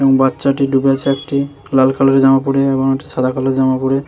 বাচ্চাটি ডুবে আছে একটি লাল কালার জামা পরে এবং সাদা কালো জামা পরে।